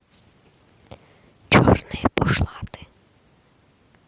черные бушлаты